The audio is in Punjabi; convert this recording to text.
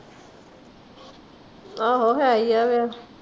ਆਹੋ ਹੈ ਹੀ ਫੇਰ